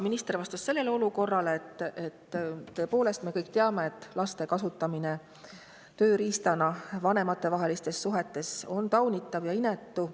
Minister vastas sellele, et tõepoolest, me kõik teame, et laste kasutamine tööriistana vanematevahelistes suhetes on taunitav ja inetu.